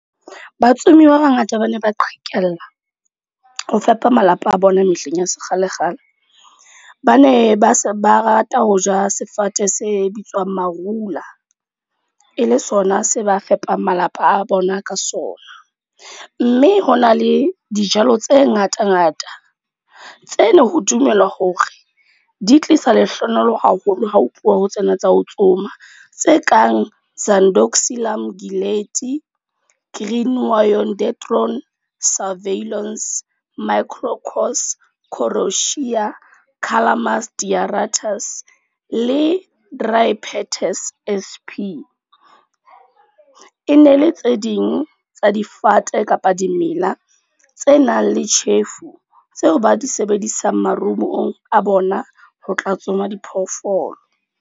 Batsomi ba bangata ba ne ba qhekella, ho fepa malapa a bona mehleng ya sekgale-kgale. Ba ne ba se ba rata ho ja sefate se bitswang Marula. E le sona se ba fepang malapa a bona ka sona. Mme ho na le dijalo tse ngata-ngata. Tseno ho dumelwa hore di tlisa lehlohonolo haholo ha ho tluwa ho tsena tsa ho tsoma. Tse kang ,,,,, le . E ne le tse ding tsa difate kapa dimela tse nang le tjhefu, tseo ba di sebedisang marumong a bona, ho tla tsoma diphoofolo.